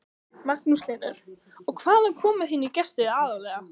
Magnús Hlynur: Og hvaðan koma þínir gestir aðallega?